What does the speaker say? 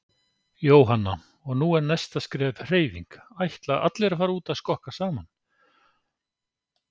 Jóhanna: Og nú er næsta skref hreyfing, ætla allir að fara út að skokka saman?